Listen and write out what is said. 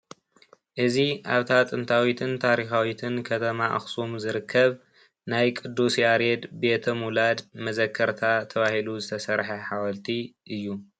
እዚ ኣብታ ጥንታዊትን ታሪኻዊትን ከተማ ኣኽሱም ዝርከብ ናይ ቅዱስ ያሬድ ቤተ-ምውላድ መዘከርታ ተባሂሉ ዝተሰርሐ ሓወልቲ እዩ፡፡